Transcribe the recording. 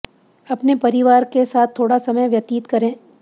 अपने परिवार के साथ थोड़ा समय व्यतित करें